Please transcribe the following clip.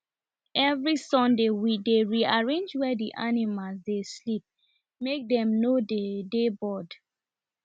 every sunday we dey rearrange where the animals dey sleep make dem no dey dey bored